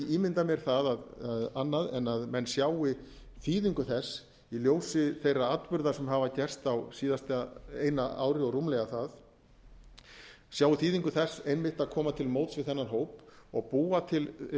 ég get ekki ímyndað mér annað en menn sjái þýðingu þess í ljósi þeirra atburða sem hafa gerst á síðasta eina ári og rúmlega það sjái þýðingu þess einmitt að koma til móts við þennan hóp og búa til hvað